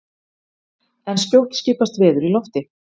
en skjótt skipast veður í lofti!